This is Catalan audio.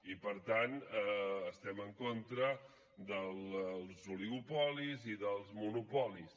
i per tant estem en contra dels oligopolis i dels monopolis